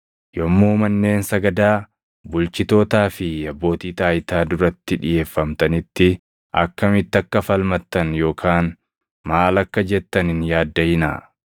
“Yommuu manneen sagadaa, bulchitootaa fi abbootii taayitaa duratti dhiʼeeffamtanitti akkamitti akka falmattan yookaan maal akka jettan hin yaaddaʼinaa.